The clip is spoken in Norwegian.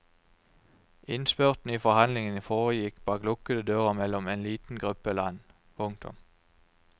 Innspurten i forhandlingene foregikk bak lukkede dører mellom en liten gruppe land. punktum